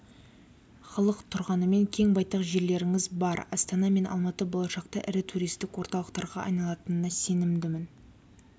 халық тұрғанымен кең байтақ жерлеріңіз бар астана мен алматы болашақта ірі туристік орталықтарға айналатынына сенімдімін